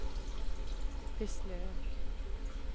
beslöt